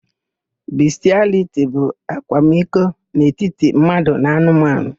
Bistịaliti bụ akwamiko n'etiti mmadụ na anụmanụ.